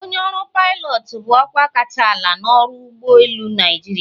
Onye ọrụ pilot bụ ọkwa kacha ala n'ọrụ ụgbọ elu Naịjirịa.